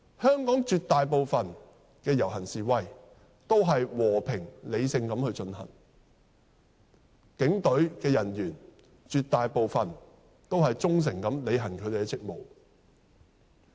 香港絕大部分的遊行示威均和平理性地進行，警隊人員絕大部分也是忠誠履行職務。